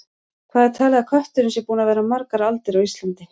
Hvað er talið að kötturinn sé búinn að vera margar aldir á Íslandi?